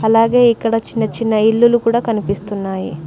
అలాగే ఇక్కడ చిన్న చిన్న ఇల్లులు కూడా కనిపిస్తున్నాయి.